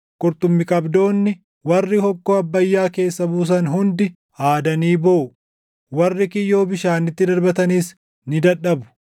Qurxummii qabdoonni, warri hokkoo Abbayyaa keessa buusan // hundi aadanii booʼu; warri kiyyoo bishaanitti darbatanis ni dadhabu.